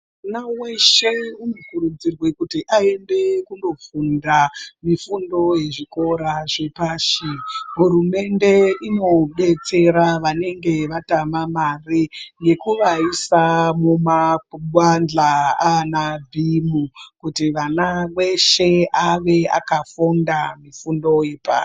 Mwana weshe unokurudzirwa kuti aende kondofunda mifundo yezvikora zvepashi hurumende inodetsera vanenge vatama mari yekuvaisa mumabadhla ana bhimu kuti vana veshe ave akafunda mifundo yepa.